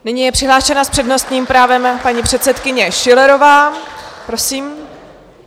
Nyní je přihlášena s přednostním právem paní předsedkyně Schillerová, prosím.